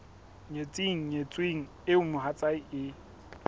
nyetseng nyetsweng eo mohatsae e